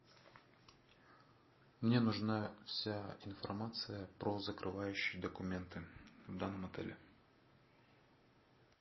мне нужна вся информация про закрывающие документы в данном отеле